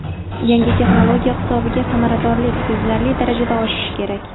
Yangi texnologiya hisobiga samaradorlik sezilarli darajada oshishi kerak.